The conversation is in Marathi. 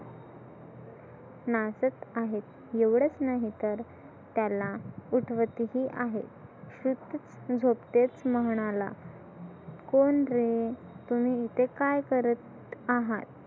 नाचत आहेत. एवढंच नाही तर त्याला उठवतही आहे सुश्रुत झोपतेस म्हणाला कोण रे तुम्ही इथे काय करत आहात.